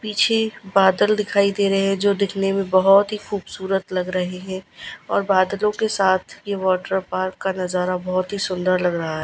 पीछे बादल दिखाई दे रहे हैं जो दिखने में बहोत ही खूबसूरत लग रहे हैं और बादलों के साथ ये वाटर पार्क का नजारा बहोत ही सुंदर लग रहा है।